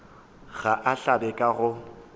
ga a hlabe ka go